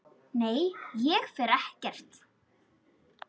Nei, ég fer ekkert.